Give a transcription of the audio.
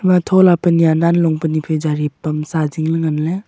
atho le pannya nan long pani phai jari pamaa jingle nganle.